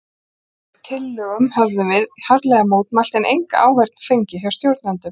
Þessari tilhögun höfðum við harðlega mótmælt, en enga áheyrn fengið hjá stjórnendum.